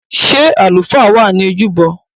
Ṣé àlùfáà wà ní ojúbọ?